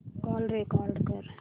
call record कर